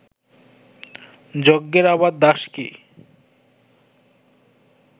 যজ্ঞের আবার দাস কি